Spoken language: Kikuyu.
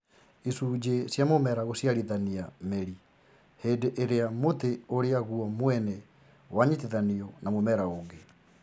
icunjĩ cia mũmera gũciarithania mĩri hĩndĩ ĩrĩa mũtĩ ũrĩa guo mwene wanyitithanio na mũmera ũngĩ